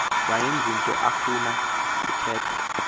wayenezinto afuna kuthethwa